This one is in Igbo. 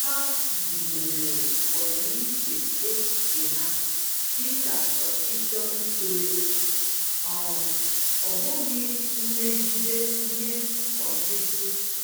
Ha guzobere ọdịiche echiche ha dịka ọchịchọ ito eto, um ọ bụghị mmegide nye ọchịchị.